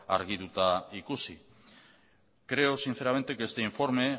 argituta ikusi creo sinceramente que este informe